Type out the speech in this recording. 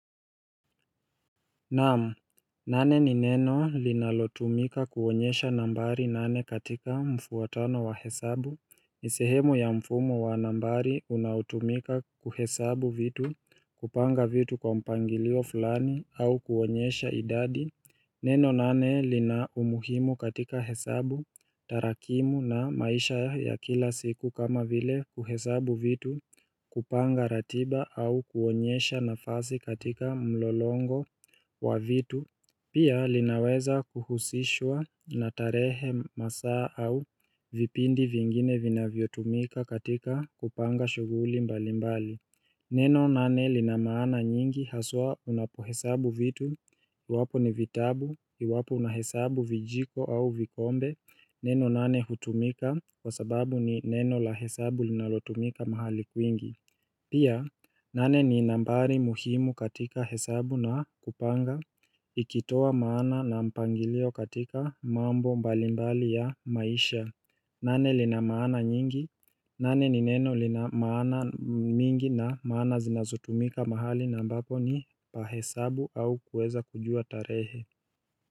Naam, nane ni neno linalotumika kuonyesha nambari nane katika mfuatano wa hesabu ni sehemu ya mfumo wa nambari unaotumika kuhesabu vitu kupanga vitu kwa mpangilio fulani au kuonyesha idadi Neno nane lina umuhimu katika hesabu tarakimu na maisha ya kila siku kama vile kuhesabu vitu kupanga ratiba au kuonyesha nafasi katika mlolongo wa vitu, pia linaweza kuhusishwa na tarehe masaa au vipindi vingine vinavyotumika katika kupanga shuguli mbali mbali Neno nane linamaana nyingi haswa unapo hesabu vitu, iwapo ni vitabu, iwapo unahesabu vijiko au vikombe Neno nane hutumika kwa sababu ni neno la hesabu linalotumika mahali kuingi Pia nane ni nambari muhimu katika hesabu na kupanga ikitoa maana na mpangilio katika mambo mbalimbali ya maisha nane ni neno linamaana mingi na maana zinazotumika mahali na ambapo ni pa hesabu au kuweza kujua tarehe.